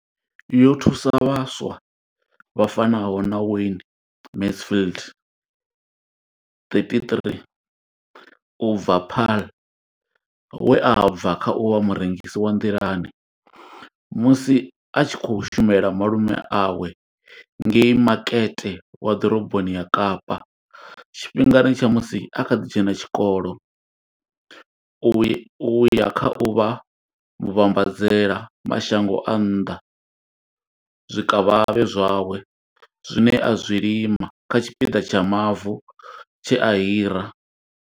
Yo thusa vhaswa vha fanaho na Wayne Mansfield 33 u bva Paarl, we a bva kha u vha murengisi wa nḓilani musi a tshi khou shumela malume awe ngei makete wa ḓoroboni ya Kapa tshifhingani tsha musi a kha ḓi dzhena tshikolo u ya u ya kha u vha muvhambadzela mashango a nnḓa zwikavhavhe zwawe zwine a zwi lima kha tshipiḓa tsha mavu tshe a hira.